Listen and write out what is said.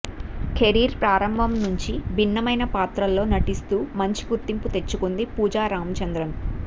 career ప్రారంభం నుండి భిన్నమైన పాత్రల్లో నటిస్తూ మంచి గుర్తింపు తెచ్చుకుంది పూజా రామచంద్రన్